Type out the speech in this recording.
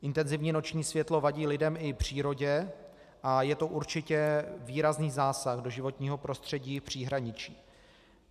Intenzivní noční světlo vadí lidem i přírodě a je to určitě výrazný zásah do životního prostředí v příhraničí.